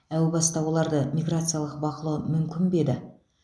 әу баста оларды миграциялық бақылау мүмкін бе еді